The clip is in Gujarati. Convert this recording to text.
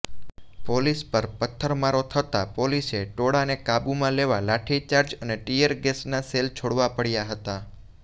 પોલીસ પર પથ્થરમારો થતાં પોલીસે ટોળાંને કાબૂમાં લેવા લાઠીચાર્જ અને ટીયરગેસના સેલ છોડવા પડ્યા હતા